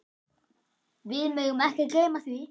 Við megum ekki gleyma því.